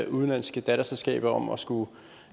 udenlandske datterselskaber om at skulle